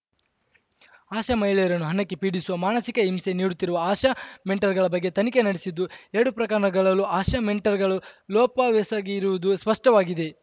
ಆಶಾ ಮಹಿಳೆಯರನ್ನು ಹಣಕ್ಕೆ ಪೀಡಿಸುವ ಮಾನಸಿಕ ಹಿಂಸೆ ನೀಡುತ್ತಿರುವ ಆಶಾ ಮೆಂಟರ್‌ಗಳ ಬಗ್ಗೆ ತನಿಖೆ ನಡೆಸಿದ್ದು ಎರಡೂ ಪ್ರಕರಣಗಳಲ್ಲೂ ಆಶಾ ಮೆಂಟರ್‌ಗಳು ಲೋಪವೆಸಗಿರುವುದು ಸ್ಪಷ್ಟವಾಗಿದೆ